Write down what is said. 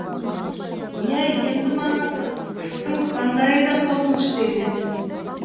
иә енді маған қыстың қандайы да қорқынышты емес